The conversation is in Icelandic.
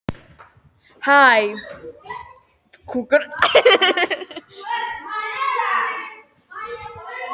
Kjarni er stórt frumulíffæri sem getur náð yfir allt að þriðjung af flatarmáli frumu.